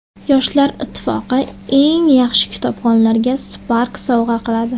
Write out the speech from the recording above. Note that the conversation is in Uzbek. Yoshlar ittifoqi eng yaxshi kitobxonlarga Spark sovg‘a qiladi.